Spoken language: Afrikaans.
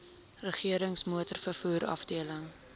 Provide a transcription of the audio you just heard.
regerings motorvervoer afdeling